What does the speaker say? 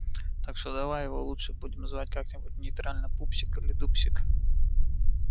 так что давай его лучше будем звать как-нибудь нейтрально пупсик или дупсик